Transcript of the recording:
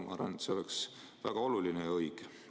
Ma arvan, et see oleks väga oluline ja õige.